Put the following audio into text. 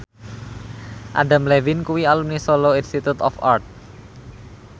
Adam Levine kuwi alumni Solo Institute of Art